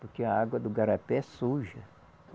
Porque a água do garapé é suja.